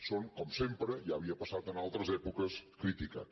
són com sempre ja havia passat en altres èpoques criticats